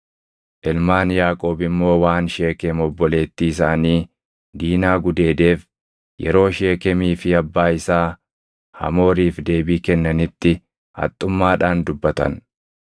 Ilmaan Yaaqoob immoo waan Sheekem obboleettii isaanii Diinaa gudeedeef yeroo Sheekemii fi abbaa isaa Hamooriif deebii kennanitti haxxummaadhaan dubbatan.